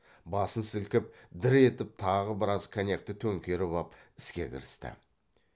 басын сілкіп дір етіп тағы біраз коньякты төңкеріп ап іске кірісті